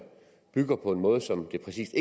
bygger på en måde som det præcis